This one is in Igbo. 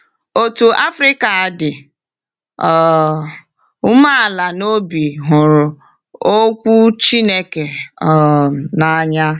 Otu Afrịka dị um umeala n’obi hụrụ Okwu Chineke um n’anya